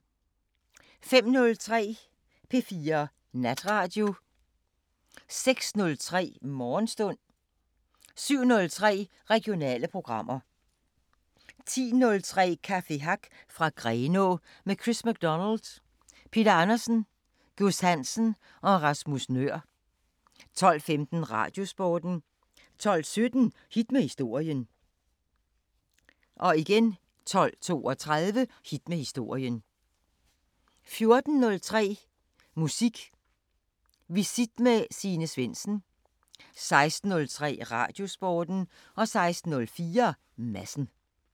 05:03: P4 Natradio 06:03: Morgenstund 07:03: Regionale programmer 10:03: Café Hack fra Grenå – med Chris MacDonald, Peter Andersen, Gus Hansen og Rasmus Nøhr 12:15: Radiosporten 12:17: Hit med historien 12:32: Hit med historien 14:03: Musik Visit med Signe Svendsen 16:03: Radiosporten 16:04: Madsen